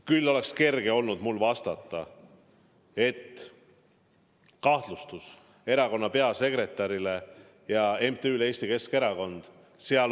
Mul oleks olnud kerge öelda, et kahtlustus on esitatud erakonna peasekretärile ja MTÜ-le Eesti Keskerakond.